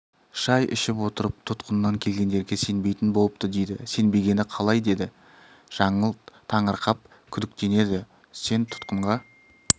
шай ішіп отырып тұтқыннан келгендерге сенбейтін болыпты деді сенбегені қалай деді жаңыл таңырқап күдіктенеді сен тұтқынға